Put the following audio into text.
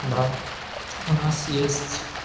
да у нас есть